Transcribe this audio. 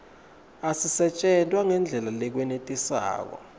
asisetjentwa ngendlela lekwenetisako